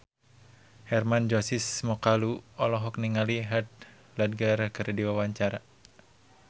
Hermann Josis Mokalu olohok ningali Heath Ledger keur diwawancara